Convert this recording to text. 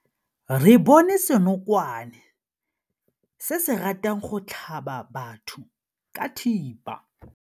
Re bone senokwane se se ratang go tlhaba batho ka thipa.